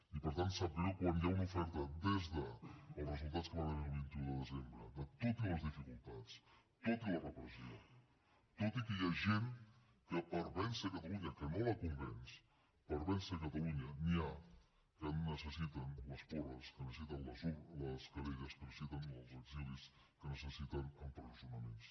i per tant sap greu quan hi ha una oferta des dels resultats que hi van haver el vint un de desembre tot i les dificultats tot i la repressió tot i que hi ha gent que per vèncer catalunya que no la convenç per vèncer catalunya n’hi ha que necessiten les porres que necessiten les querelles que necessiten els exilis que necessiten empresonaments